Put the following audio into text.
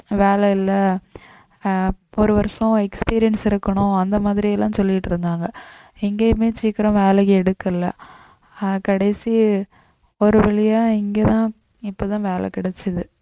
வேலை இல்லை ஆஹ் ஒரு வருஷம் experience இருக்கணும் அந்த மாதிரி எல்லாம் சொல்லிட்டு இருந்தாங்க எங்கேயுமே சீக்கிரம் வேலை எடுக்கலை ஆஹ் கடைசி ஒரு வழியா இங்கேதான் இப்போதான் வேலை கிடைச்சது